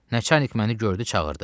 Nəcanik məni gördü çağırdı.